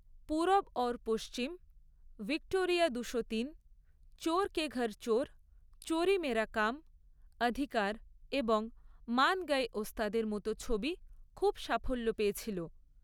‘Purab aur Paschim’, ‘Victoria দুশো তিন’, ‘চোর কে ঘর চোর’, ‘চোরী মেরা কাম’, ‘অধিকার’ এবং ‘মান গয়ে ওস্তাদ’ এর মতো ছবি খুব সাফল্য পেয়েছিল।